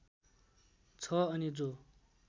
छ अनि जो